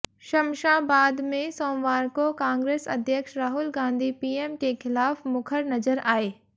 शमशाबाद में सोमवार को कांग्रेस अध्यक्ष राहुल गांधी पीएम के खिलाफ मुखर नजर आए